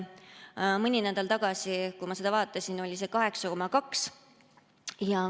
Mõni nädal tagasi, kui ma seda vaatasin, oli see 8,2.